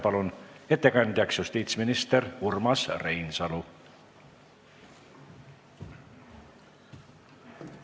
Palun ettekandjaks justiitsminister Urmas Reinsalu!